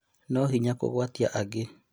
No hinya kũgwatia angĩ